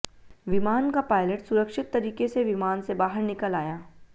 विमान का पायलट सुरक्षित तरीके से विमान से बाहर निकल आया